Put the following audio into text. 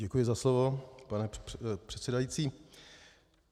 Děkuji za slovo, pane předsedající.